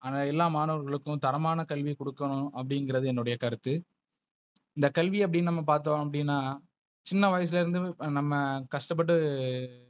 ஆனா எல்லா மாணவர்களுக்கும் தரமான கல்வி கொடுக்கணும் அப்படிங்கறது என்னுடைய கருத்து. இந்த கல்வி அப்டி நம்ம பாத்தோம் அப்டினா சின்ன வயசுல இருந்தே நம்ம கஷ்ட பட்டு,